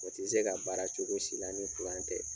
O tɛ se ka baara cogo si la ni tɛ.